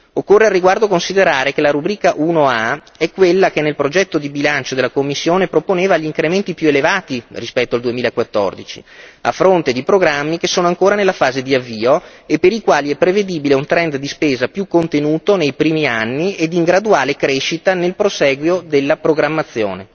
Occorre al riguardo considerare che la rubrica 1a è quella che nel progetto di bilancio della Commissione proponeva gli incrementi più elevati rispetto al 2014, a fronte di programmi che sono ancora nella fase di avvio e per i quali è prevedibile un trend di spesa più contenuto nei primi anni ed in graduale crescita nel prosieguo della programmazione.